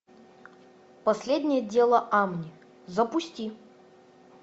последнее дело амни запусти